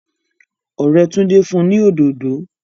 òré Tunde Fún ní òdòdò